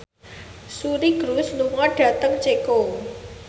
Suri Cruise lunga dhateng Ceko